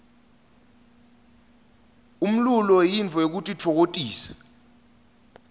umlulo yintfo yekutitfokotisa